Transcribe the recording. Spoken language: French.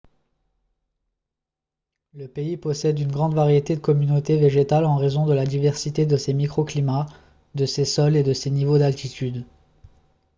le pays possède une grande variété de communautés végétales en raison de la diversité de ses microclimats de ses sols et de ses niveaux d'altitude